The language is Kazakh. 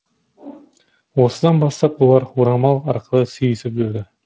осыдан бастап олар орамал арқылы сүйісіп жүрді